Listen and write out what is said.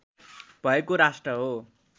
भएको राष्ट्र हो